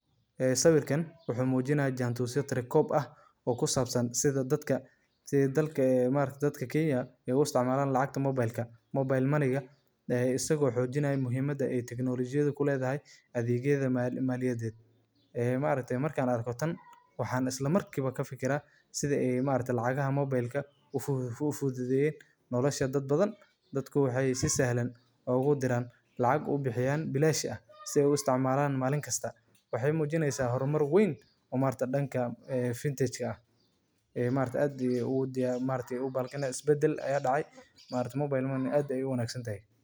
Lacagta moobilka waa hab casri ah oo fududeynaya in dadka isticmaala taleefannada gacanta ay si sahlan ugu gudbiyaan lacag, iyagoo aan u baahnayn inay boorsooyin ama bangiyo tagaan; nidaamkan wuxuu noqday mid aad muhiim ugu ah Kenya maadaama bangiyada dhaqanka ay ku yaryihiin ama aan si fiican u shaqeyn karin, gaar ahaan meelaha miyiga ah. Adeegyada lacagta moobilka.